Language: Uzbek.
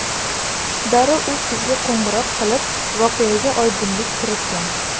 Darrov u qizga qo‘ng‘iroq qilib, voqeaga oydinlik kiritgan.